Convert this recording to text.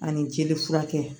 Ani jeli furakɛ